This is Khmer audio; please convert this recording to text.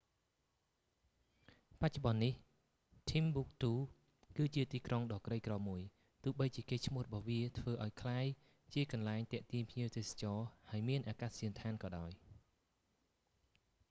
បច្នុប្បន្ននេះ ធីមប៊ូកទូ គឺជាទីក្រុងដ៏ក្រីក្រមួយ ទោះបីជាកេរ្តិ៍ឈ្មោះរបស់វាធ្វើឱ្យវាក្លាយជាកន្លែងទាក់ទាញភ្ញៀវទេសចរ ហើយមានអាកាសយានដ្ឋានក៏ដោយ